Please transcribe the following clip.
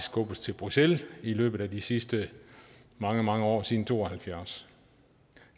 skubbet til bruxelles i løbet af de sidste mange mange år siden nitten to og halvfjerds